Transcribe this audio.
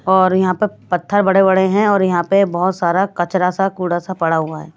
और यहां पर पत्थर बड़े-बड़े हैं और यहां पे बहुत सारा कचरा सा कूड़ा सा पड़ा हुआ है।